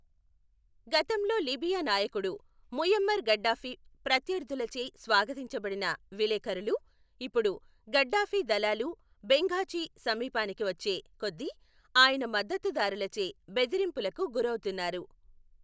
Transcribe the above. గతంలో లిబియా నాయకుడు Muammar Gaddafi ప్రత్యర్థులచే స్వాగతించబడిన విలేఖరులు, ఇప్పుడు గడ్డాఫీ దళాలు బెంఘాజీ సమీపానికి వచ్చే కొద్దీ ఆయన మద్దతుదారులచే బెదిరింపులకు గురవుతున్నారు.